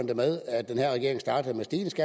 det med at den her regering startede med